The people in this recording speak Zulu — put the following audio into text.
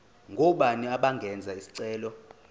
ngobani abangenza isicelo